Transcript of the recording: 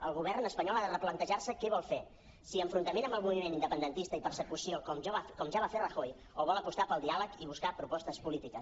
el govern espanyol ha de replantejar·se què vol fer si enfrontament amb el moviment independentista i persecució com ja va fer rajoy o vol apostar pel diàleg i buscar propostes polítiques